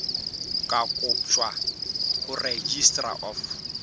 ka kotjwa ho registrar of